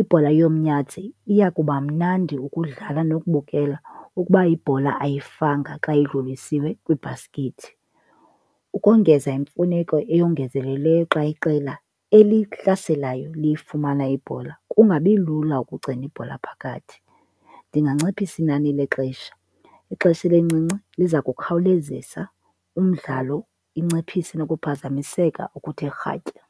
Ibhola yomnyazi iya kuba mnandi ukudlala nokubukela ukuba ibhola ayifanga xa idlulisiwe kwibhaskithi. Ukongeza imfuneko eyongezelelweyo xa iqela elihlaselayo liyifumana ibhola kungabi lula ukugcina ibhola phakathi, ndinganciphisa inani lexesha. Ixesha elincinci liza kukhawulezisa umdlalo inciphise nokuphazamiseka okuthe rhatya.